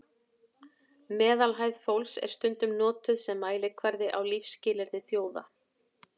meðalhæð fólks er stundum notuð sem mælikvarði á lífsskilyrði þjóða